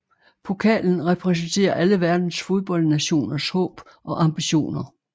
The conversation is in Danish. Pokalen repræsenterer alle verdens fodboldnationers håb og ambitioner